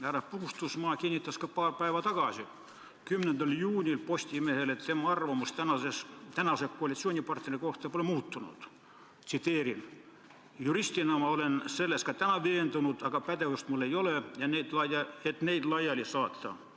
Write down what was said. Härra Puustusmaa kinnitas ka paar päeva tagasi, 10. juunil, Postimehele, et tema arvamus tänase koalitsioonipartneri kohta pole muutunud: "Juristina ma olen selles ka täna veendunud, aga pädevust mul ei ole, et neid laiali saata.